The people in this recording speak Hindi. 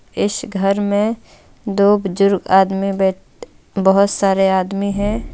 इस घर मे दो बुजुर्ग आदमी बैठ बोहोत सारे आदमी है.